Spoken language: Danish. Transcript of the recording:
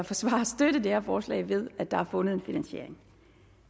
forsvare at støtte det her forslag ved at der er fundet en finansiering